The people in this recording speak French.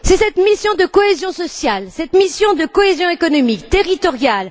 C'est cette mission de cohésion sociale, cette mission de cohésion économique, territoriale.